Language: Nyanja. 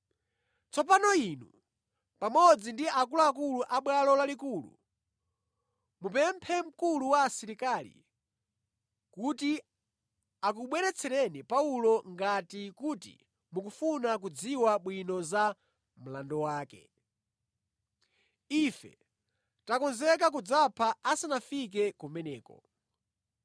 Tsopano inu pamodzi ndi akuluakulu a Bwalo Lalikulu mupemphe mkulu wa asilikali kuti akubweretsereni Paulo ngati kuti mukufuna kudziwa bwino za mlandu wake. Ife takonzeka kudzamupha asanafike kumeneko.”